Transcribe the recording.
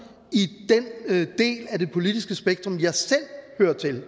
i den del af det politiske spektrum jeg selv hører til